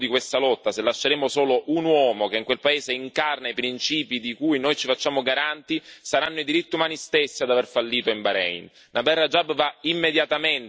Se falliremo nel difendere il simbolo di questa lotta, se lasceremo solo un uomo che in quel paese incarna i principi di cui noi ci facciamo garanti, saranno i diritti umani stessi ad aver fallito in Bahrein.